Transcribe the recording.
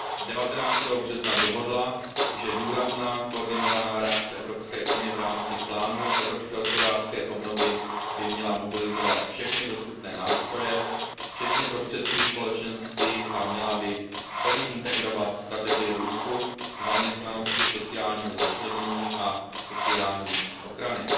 19. března dohodla, že důrazná koordinovaná reakce Evropské unie v rámci plánu evropské hospodářské obnovy by měla mobilizovat všechny dostupné nástroje včetně prostředků Společenství a měla by plně integrovat strategie růstu, zaměstnanosti, sociálního začlenění a sociální ochrany.